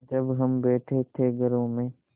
जब हम बैठे थे घरों में